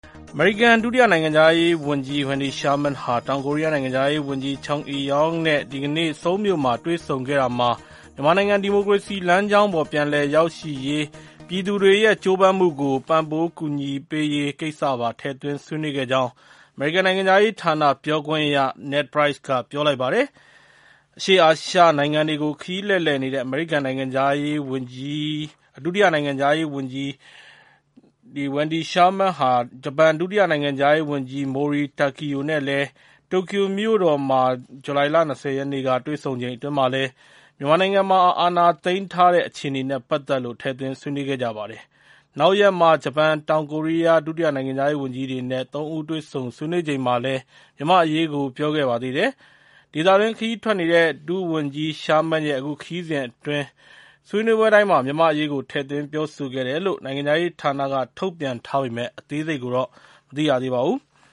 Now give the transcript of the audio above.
အမေရိကန် ဒုတိယနိုင်ငံခြားရေးဝန်ကြီး Wendy Sherman ဟာ တောင်ကိုရီးယားနိုင်ငံခြားရေးဝန်ကြီး Chung Eui-yong နဲ့ ဒီကနေ့ ဆိုးလ်မြို့မှာ တွေ့ဆုံခဲ့တာမှာ မြန်မာနိုင်ငံ ဒီမိုကရေစီလမ်းကြောင်းပေါ် ပြန်လည်ရောက်ရှိရေး ပြည်သူတွေရဲ့ ကျိုးပမ်းမှုကို ပံ့ပိုး ကူညီပေးရေးကိစ္စပါ ထည့်သွင်းဆေးနွေးခဲ့ကြောင်း အမေရိကန်နိုင်ငံခြားရေးဌာန ပြောခွင့်ရ Ned Price က ပြောပါတယ်။ အရှေ့အာရှနိုင်ငံတွေကို ခရီးလှည့်နေတဲ့ အမေရိကန် ဒုတိယနိုင်ငံခြားရေးဝန်ကြီး Wendy Sherman ဟာ ဂျပန် ဒုတိယနိုင်ငံခြားရေးဝန်ကြီး Mori Takeo နဲ့ တိုကျိုမြို့တော်မှာ ဇူလိုင်လ ၂၀ ရက်နေ့က တွေ့ဆုံချိန်အတွင်းမှာလည်း မြန်မာနိုင်ငံမှာ စစ်အာဏာသိမ်းထားတဲ့ အခြေအနေနဲ့ ပတ်သက်ပြီးတော့လည်း ထည့်သွင်း ဆွေးနွေးခဲ့ကြပါတယ်။ နောက်ရက်မှာ ဂျပန်၊ တောင်ကိုရီးယား ဒုနိုင်ငံခြားရေးဝန်ကြီးတွေနဲ့ သုံးဦး တွေ့ဆုံ ဆွေးနွေးချိန်မှာလည်း မြန်မာ့အရေးကို ပြောခဲ့ကြပါသေးတယ်။ ဒေသတွင်း ခရီးထွက်နေတဲ့ ဒုဝန်ကြီး Sherman ရဲ့ အခုခရီးစဉ်အတွင်း ဆွေးနွေးပွဲတိုင်းမှာ မြန်မာ့အရေးကို ထည့်သွင်းပြောဆိုခဲ့တယ်လို့ နိုင်ငံခြားရေးဌာနက ထုတ်ပြန်ထားပေမယ့် အသေးစိတ်တွေကိုတော့ မသိရပါဘူး။